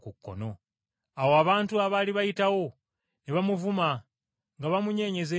Awo abantu abaali bayitawo, ne bamuvuma nga bamunyeenyeza emitwe